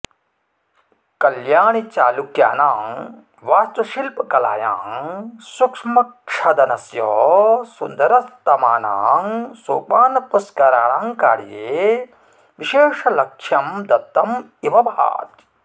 कल्याणिचालुक्यानां वास्तुशिल्पकलायां सूक्ष्मक्षदनस्य सुन्दरस्तमानां सोपानपुष्कराणां कार्ये विशेष लक्ष्यं दत्तम् इव भाति